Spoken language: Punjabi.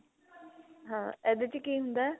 ਹਾਂ ਇਹਦੇ ਚ ਕੀ ਹੁੰਦਾ